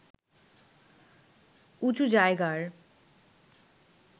উঁচু জায়গার